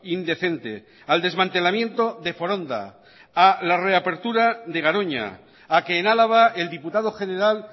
indecente al desmantelamiento de foronda a la reapertura de garoña a que en álava el diputado general